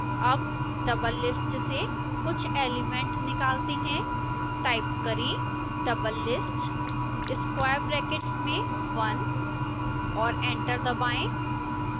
अब doublelist से कुछ एलिमेंट निकालते हैं